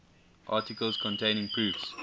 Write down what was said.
articles containing proofs